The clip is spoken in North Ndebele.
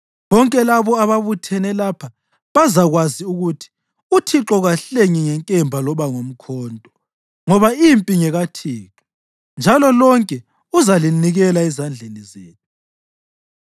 Bonke labo ababuthene lapha bazakwazi ukuthi uThixo kahlengi ngenkemba loba ngomkhonto, ngoba impi ngekaThixo, njalo lonke uzalinikela ezandleni zethu.”